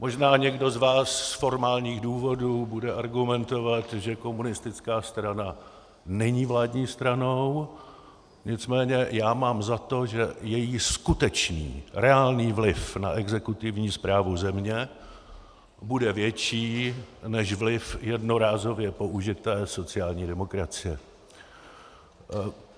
Možná někdo z vás z formálních důvodů bude argumentovat, že komunistická strana není vládní stranou, nicméně já mám za to, že její skutečný reálný vliv na exekutivní správu země bude větší než vliv jednorázově použité sociální demokracie.